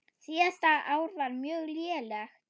Síðasta ár var mjög lélegt.